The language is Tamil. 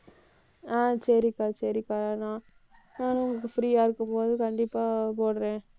ஆஹ் சரிக்கா, சரிக்கா. நான்~ நானும் உங்களுக்கு free ஆ இருக்கும்போது கண்டிப்பா போடறேன்.